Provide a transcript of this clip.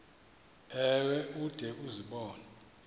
ewe ude uzibone